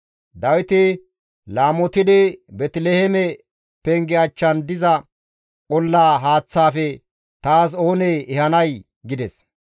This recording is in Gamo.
Dawiti laamotidi, «Beeteliheeme penge achchan diza olla haaththaafe taas oonee ehanay!» gides.